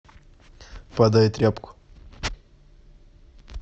подай тряпку